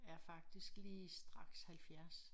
Er faktisk lige straks 70